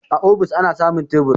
A ofis ana samun tebur